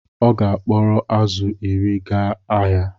Ọ ga-akporo azụ̀ iri gaa ahịa